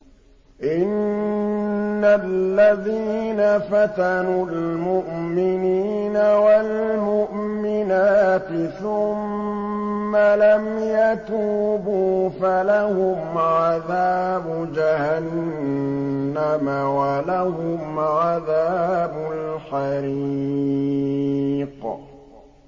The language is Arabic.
إِنَّ الَّذِينَ فَتَنُوا الْمُؤْمِنِينَ وَالْمُؤْمِنَاتِ ثُمَّ لَمْ يَتُوبُوا فَلَهُمْ عَذَابُ جَهَنَّمَ وَلَهُمْ عَذَابُ الْحَرِيقِ